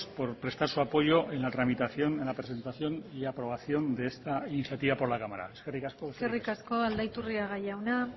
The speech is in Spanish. por prestar su apoyo en la tramitación en la presentación y aprobación de esta iniciativa por la cámara eskerrik asko eskerrik asko aldaiturriaga jauna